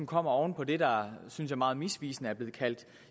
kommer oven på det der synes jeg meget misvisende er blevet kaldt